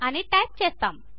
అని టైప్ చేస్తాము